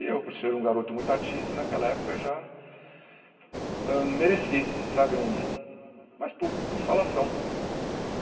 E eu, por ser um garoto muito ativo naquela época, já hã mereci sabe um mas mas por falação.